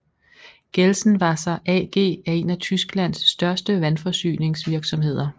Gelsenwasser AG er en af Tysklands største vandforsyningsvirksomheder